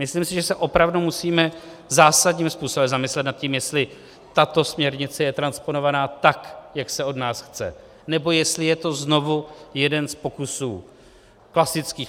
Myslím si, že se opravdu musíme zásadním způsobem zamyslet nad tím, jestli tato směrnice je transponovaná tak, jak se od nás chce, nebo jestli je to znovu jeden z pokusů klasických.